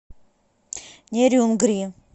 нерюнгри